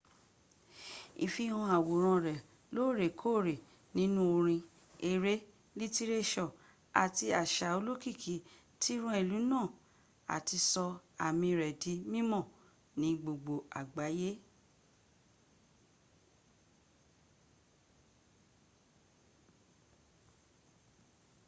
ìfihàn àwòrán rẹ lóorèkòorẹ́ nínú orin ẹrẹ́ lítírẹ́sọ̀ àti àsa olókìkí ti ran ìlu náà áti sọ ámí rẹ di mímọ̀ ní gbogbo àgbáyẹ́